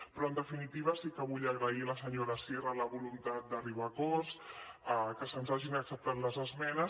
però en definitiva sí que vull agrair a la senyora sierra la voluntat d’arribar a acords que se’ns hagin acceptat les esmenes